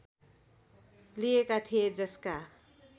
लिएका थिए जसका